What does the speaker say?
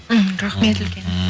мхм рахмет үлкен